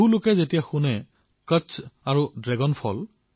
বহুলোকে যেতিয়া শুনে তেতিয়া আচৰিত হয় কচ্ছ আৰু ড্ৰেগন ফল